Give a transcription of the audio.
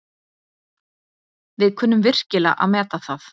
Við kunnum virkilega að meta það.